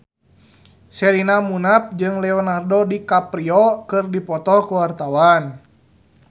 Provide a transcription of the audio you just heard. Sherina Munaf jeung Leonardo DiCaprio keur dipoto ku wartawan